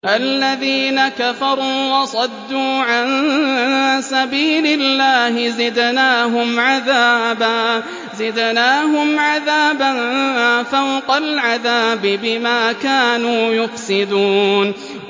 الَّذِينَ كَفَرُوا وَصَدُّوا عَن سَبِيلِ اللَّهِ زِدْنَاهُمْ عَذَابًا فَوْقَ الْعَذَابِ بِمَا كَانُوا يُفْسِدُونَ